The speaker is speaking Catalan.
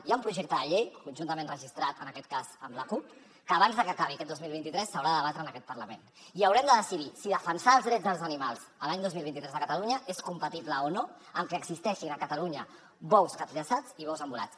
hi ha un projecte de llei conjuntament registrat en aquest cas amb la cup que abans de que acabi aquest dos mil vint tres s’haurà de debatre en aquest parlament i haurem de decidir si defensar els drets dels animals l’any dos mil vint tres a catalunya és compatible o no amb que existeixin a catalunya bous capllaçats i bous embolats